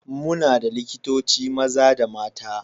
Muna da likitoci maza da mata.